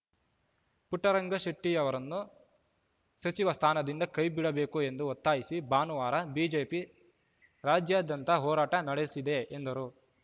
ಪುಟ್ಟರಂಗಶೆಟ್ಟಿಅವರನ್ನು ಸಚಿವ ಸ್ಥಾನದಿಂದ ಕೈ ಬಿಡಬೇಕು ಎಂದು ಒತ್ತಾಯಿಸಿ ಭಾನುವಾರ ಬಿಜೆಪಿ ರಾಜ್ಯಾದ್ಯಂತ ಹೋರಾಟ ನಡೆಸಿದೆ ಎಂದರು